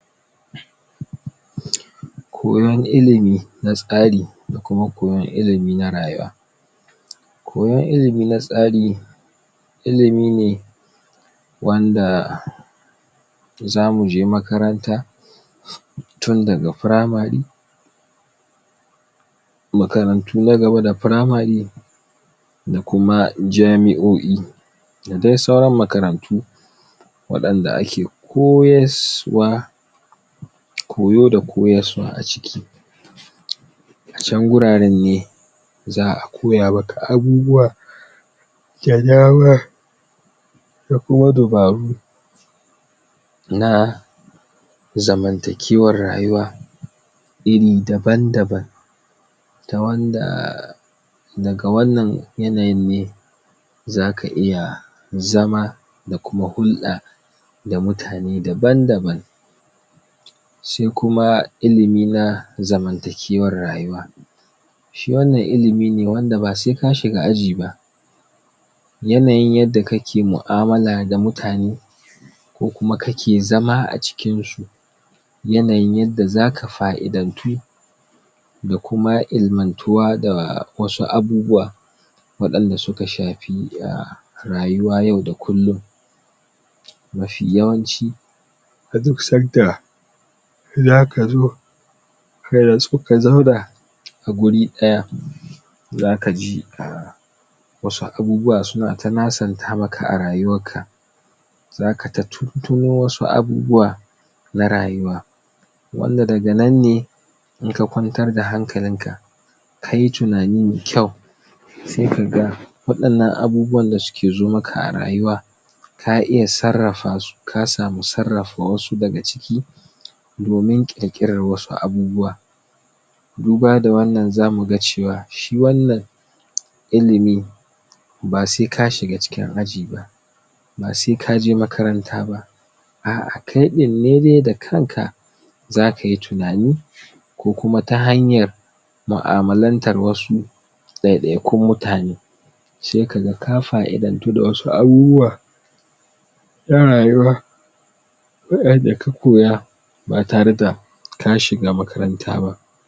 koyon ilimi na tsari da kuma koyon ilimi na rayuwa koyon ilimi na tsari ilimi ne wanda za mu je makaranta tun da ga primary makarantu na gaba da primary da kuma jamiyoyi da dai sauran makarantu wadan da ake koyar wa koyo da koyar wa a ciki a can guraren ne zaa koya maka abubuwa da dama da kuma dabaru na zamantq kewar rayuwa iri daban daban da wanda da ga wannan yanayin ne za ka iya zama da kuma hulda da mutane daban daban sai kuma ilimi na zamantakewar rayuwa shi wannan ilimi ne da ba sai ka shiga aji ba yanayi yadda ka ke muamala da mutane ko kuma ka ke zama a cikin su yanayi yan da fa'idantu da kuma il'mantuwa da wasu abubuwa wadan da su ka shafi ya rayuwa yau da kulun mafiyawanci a duk san da za ka zo ka natsu ka zauna a guri daya za ka ji a wasu abubuwa su na ta nasanta maka a rayuwar ka za ka ta tuttuno wasu abubuwa na rayuwa wan da daga nan ne in ka kwantar da hakalin ka ka yi tunani mai kyau sai ka ga wadan nan abubuwa da su ke zo ma ka a rayuwa ta iya sarrafa su ka samu sarrafa wasu daga ciki domin kekar wasu abubuwa duba da wannan za mu ga cewa shi wannan ilimi ba sai ka shiga cikin aji ba ba sai ka je makaranta ba a a kai din ne dai da kan ka za ka yi tunani ko kuma ta hanyar muamalen tarwasu daya daya kun mutane sai ka ga ka fa'idantu da wasu abubuwa na rayuwa bayan da ka koya ba tare da ta shi ga makaranta ba